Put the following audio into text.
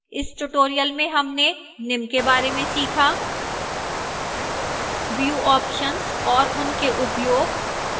इस tutorial में हमने निम्न के बार में सीखाः